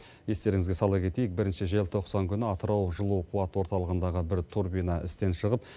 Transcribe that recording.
естеріңізге сала кетейік бірінші желтоқсан күні атырау жылу қуат орталығындағы бір турбина істен шығып